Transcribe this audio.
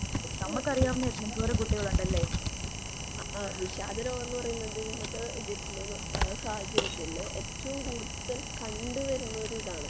ഏഹ് ആ വിഷാദരോഗമെന്നുപറയുന്നതു ഇന്നത്തെ ഇതില് സാഹചര്യത്തില് ഏറ്റവും കൂടുതൽ കണ്ടുവരുന്ന ഒരു ഇതാണ്.